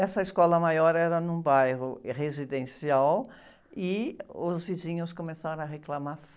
Essa escola maior era num bairro residencial e os vizinhos começaram a reclamar